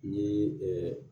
N ye